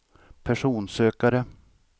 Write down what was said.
personsökare